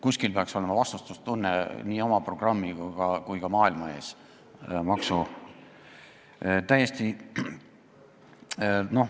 Kuskil peaks olema vastutustunne nii oma programmi kui ka maailma ees.